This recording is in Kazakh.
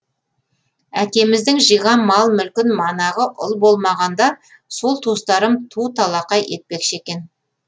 әкеміздің жиған мал мүлкін манағы ұл болмағанда сол туыстарым ту талақай етпекші екен